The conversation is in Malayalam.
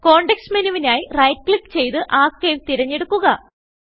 കോണ്ടെക്സ്റ്റ് menuവിനായി റൈറ്റ് ക്ലിക്ക് ചെയ്ത് Archiveതിരഞ്ഞെടുക്കുക